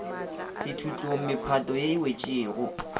sethutlong mephato ye e wetšego